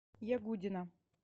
ягудина